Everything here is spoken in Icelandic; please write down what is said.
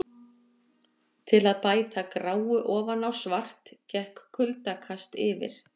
Til að bæta gráu ofan á svart gekk kuldakast yfir.